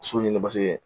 So ɲini paseke